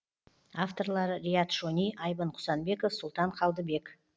авторлары риат шони айбын құсанбеков сұлтан қалдыбек